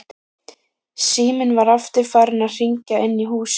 Síminn var aftur farinn að hringja inni í húsinu.